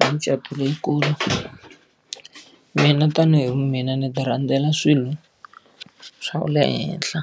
Hi mucato leyikulu. Mina tanihi vu mina ni ti rhandzela swilo swa le henhla,